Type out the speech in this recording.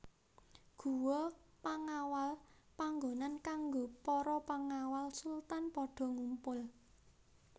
Guwa Pengawal panggonan kanggo para pengawal sultan padha ngumpul